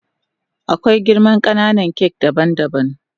Akwai girman kananan kak daban daban.